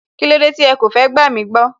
Kílódé tí ẹ kò fẹ́ gbàmí gbọ́